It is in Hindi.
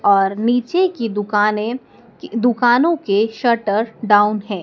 और नीचे की दुकानें कि दुकानों के शटर डाउन हैं।